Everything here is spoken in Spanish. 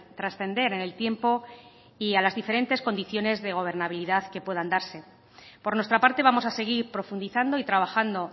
trascender en el tiempo y a las diferentes condiciones de gobernabilidad que puedan darse por nuestra parte vamos a seguir profundizando y trabajando